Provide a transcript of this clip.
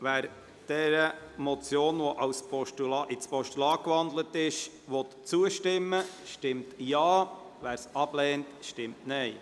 Wer dieser Motion, die in ein Postulat gewandelt ist, zustimmen will, stimmt Ja, wer dies ablehnt, stimmt Nein.